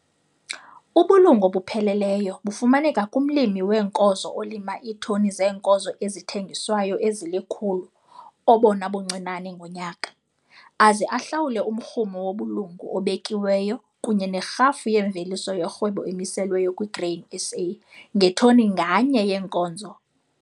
Ubulungu obupheleleyo bufumaneka kumlimi weenkozo olima iitoni zeenkozo ezithengiswayo ezili-100 obona buncinane ngonyaka, aze ahlawule umrhumo wobulungu obekiweyo kunye nerhafu yemveliso yorhwebo emiselweyo kwi-Grain SA ngetoni nganye yeenkozo ayivunayo.